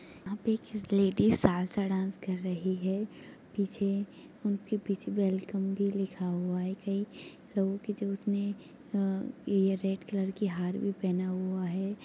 यहा पे एक लेडीस सालसा डांस कर रही है पीछे उनके पीछे वैल्कम भी लिखा हुआ है कई लोगो की जो उसने अ-अयेह रेड कलर का हार भी पहना हुआ है।